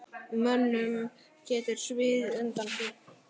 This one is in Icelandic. Mönnum getur sviðið undan því.